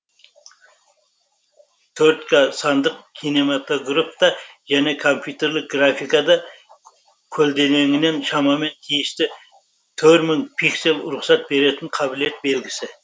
төрт к сандық кинематографта және компьютерлік графикада көлденеңінен шамамен тиісті төр мың пиксель рұқсат беретін қабілет белгісі